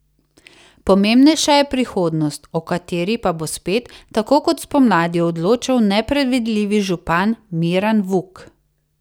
Pomembnejša je prihodnost, o kateri pa bo spet, tako kot spomladi, odločal nepredvidljivi župan Miran Vuk.